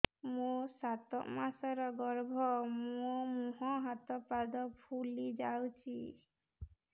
ମୋ ସାତ ମାସର ଗର୍ଭ ମୋ ମୁହଁ ହାତ ପାଦ ଫୁଲି ଯାଉଛି